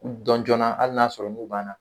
U dɔn jɔnna hali n'a y'a sɔrɔ n'u b'an na .